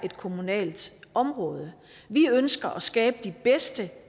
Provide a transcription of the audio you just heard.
et kommunalt område vi ønsker at skabe de bedste